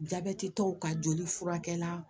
Jabɛtitɔw ka joli furakɛ la